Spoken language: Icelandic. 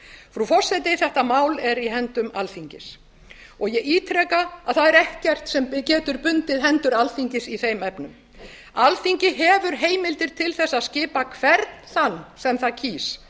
frú forseti þetta má er í höndum alþingis og ég ítreka að það er ekkert sem getur bundið hendur alþingis í þeim efnum alþingi hefur heimildir til þess að skipa hvern þann sem það kýs